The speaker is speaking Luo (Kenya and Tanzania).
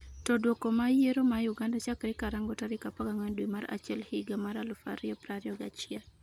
to Duoko mag yiero ma Uganda chakre karang'o tarik 14 dwe mar achiel higa mar 2021?